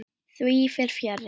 Því fer fjarri.